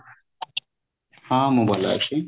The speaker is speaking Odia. ହଁ ମୁଁ ଭଲ ଅଛି